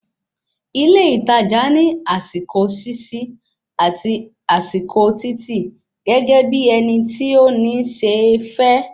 Ilé ìtajà ní àsìkò ṣíṣí àti àsìkò títì gẹ́gẹ́ bí ẹni tí o ní se fẹ